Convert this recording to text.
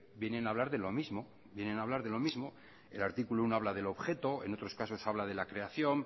vienen a hablar de lo mismo vienen a hablar de lo mismo el artículo uno habla del objeto en otros casos habla de la creación